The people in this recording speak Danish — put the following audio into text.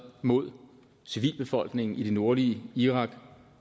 mod civilbefolkningen i det nordlige irak